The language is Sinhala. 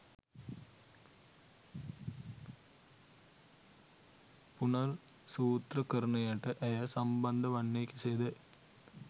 පුනර්සූත්‍රකරණයට ඇය සම්බන්ධ වන්නේ කෙසේද?